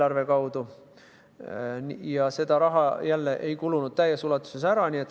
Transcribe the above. Aga see raha ei kulunud täies ulatuses ära.